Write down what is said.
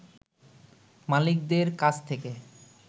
মালিকদের কাছ থেকে